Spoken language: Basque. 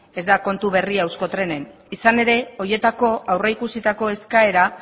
ez da kontu berria euskotrenen izan ere horietako aurrikusitako eskaera